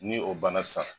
Ni o banna sisan